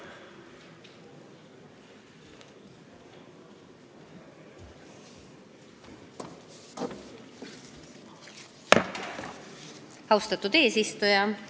Austatud eesistuja!